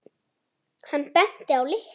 Hann benti á lykla.